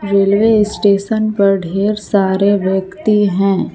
Railway station पर ढेर सारे व्यक्ति हैं।